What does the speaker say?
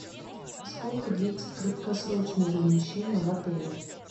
сколько длится краткосрочное размещение в отеле